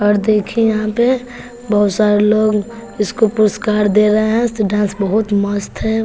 और देखे यहां पे बहोत सारे लोग इसको पुरस्कार दे रहे है वैसे डांस बहोत मस्त है।